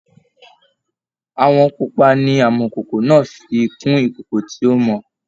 Àwọn pupa ni amọ̀kòkò náà fi kun ìkòkò tí ó mọ